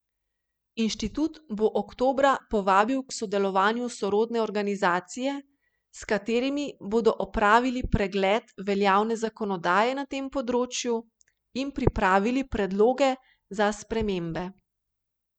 Inštitut bo oktobra povabil k sodelovanju sorodne organizacije, s katerimi bodo opravili pregled veljavne zakonodaje na tem področju in pripravili predloge za spremembe.